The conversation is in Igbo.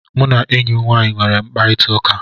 M na enyi nwaanyị nwere mkparịta ụka